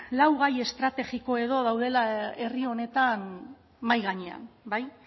lau gai estrategiko edo daudela herri honetan mahai gainean bai